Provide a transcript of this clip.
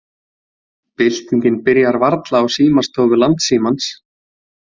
Byltingin byrjar varla á símastofu Landsímans